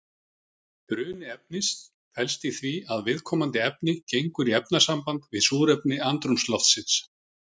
Bruni efnis felst í því að viðkomandi efni gengur í efnasamband við súrefni andrúmsloftsins.